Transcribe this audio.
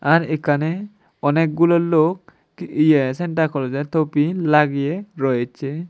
আর এখানে অনেকগুলো লোক কি ইয়ে সান্তা ক্লজের টোপি লাগিয়ে রয়েছে।